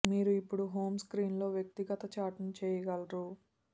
మీరు ఇప్పుడు హోమ్ స్క్రీన్లో వ్యక్తిగత చాట్ ను చేయగలరు